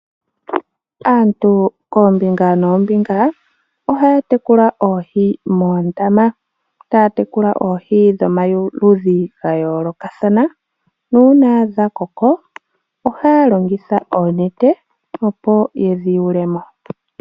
Aantu koombinga noombinga ohaa tekula oohi moondama, taa tekula oohi dhomaludhi gayoolokathana nuuna dhakoko ohaa longitha oonete opo yedhi yulemo.